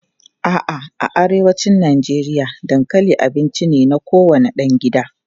A'a, a arewacin Najeriya dankali abinci ne na kowane ɗan gida.